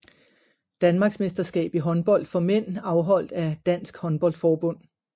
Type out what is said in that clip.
Danmarksmesterskab i håndbold for mænd afholdt af Dansk Håndbold Forbund